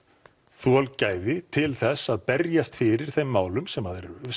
þolgæði til þess að berjast fyrir þeim málum sem að eru